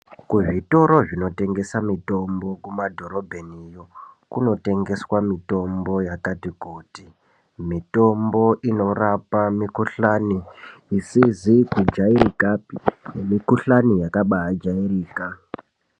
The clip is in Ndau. Kuzvitoro zvinotengesa mitombo kumadhorobheniyo kunotengeswa mitombo yakati -kuti . Mitombo inorapa mikhuhlani isizi kujairikapi nemikhuhlane yakabaajairika